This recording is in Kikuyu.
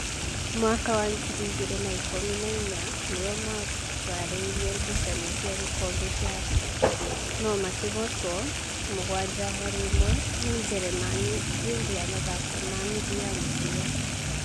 mwaka wa ngiri igĩrĩ na ikũmi na inya nĩo maharĩire gucanio cia gĩkombe kĩa thĩ, no makĩhootwo mũgwanja harĩ ĩmwe nĩ Njĩrĩmani hĩndĩ ya mathako ma nuthu ya mũthia.